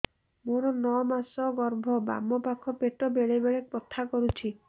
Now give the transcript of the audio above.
ମୋର ନଅ ମାସ ଗର୍ଭ ବାମ ପାଖ ପେଟ ବେଳେ ବେଳେ ବଥା କରୁଛି